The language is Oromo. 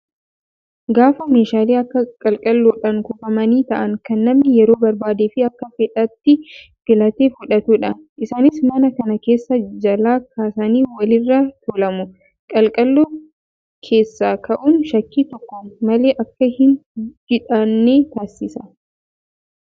Gaafa meeshaalee akka qalqalloodhaan kuufamanii taa'an kan namni yeroo barbaadee fi Akka fedhetti filatee fudhatudha. Isaanis mana kana keessa jalaa kaasanii walirra tuulamu. Qalqalloo keessa kaa'uun shakkii tokko malee Akka hin jiidhanne taasisa